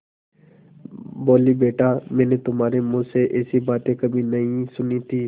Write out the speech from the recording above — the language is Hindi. बोलीबेटा मैंने तुम्हारे मुँह से ऐसी बातें कभी नहीं सुनी थीं